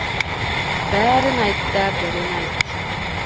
бәрін айт та бірін айт